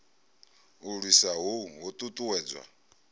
u lwisa hohu ho ṱuṱuwedzwa